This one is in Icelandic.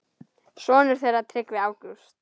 Sonur þeirra Tryggvi Ágúst.